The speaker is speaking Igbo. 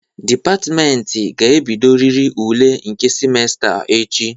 Dịpatịmentị ga-ebidoriri ule nke simesta a echi.